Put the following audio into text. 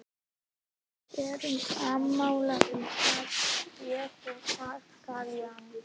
Við erum sammála um það, ég og páskaliljan.